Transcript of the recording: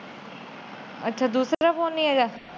ਅੱਛਾ ਦੂਸਰਾ ਫੋਨ ਨਹੀਂ ਹੇਗਾ।